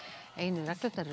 einu reglurnar eru